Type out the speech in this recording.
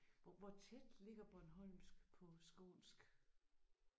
Hvor hvor tæt ligger bornholmsk på skånsk?